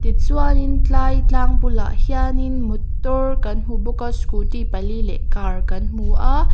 tichuanin tlai tlang bulah hianin motor kan hmu bawk a scooty pali leh car kan hmu a--